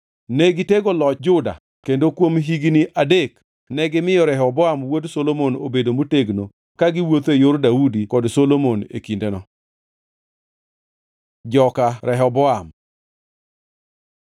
Ne gitego loch Juda kendo kuom higni adek negimiyo Rehoboam wuod Solomon obedo motegno ka giwuotho e yor Daudi kod Solomon e kindeno. Joka Rehoboam